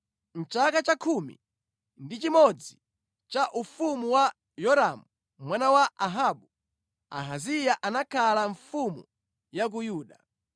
(Mʼchaka cha khumi ndi chimodzi cha ufumu wa Yoramu mwana wa Ahabu, Ahaziya anakhala mfumu ya ku Yuda).